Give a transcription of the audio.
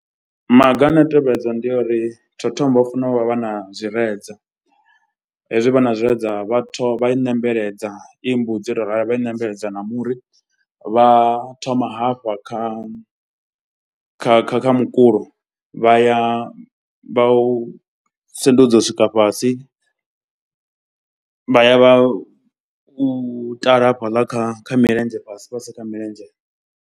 Maga ane a tevhedzwa ndi ya uri tsho thoma u fanela u vha vha na zwireza. Hezwi vha na zwireza vha thoma vha i ṋembeledza i mbudzi yo to raḽa vha i ṋembeledza na muri. Vha thoma hafha kha kha kha kha mukulo vha ya vha u sendudza u swika fhasi. Vha ya vha u u tala hafhaḽa kha kha milenzhe fhasi fhasi kha milenzhe.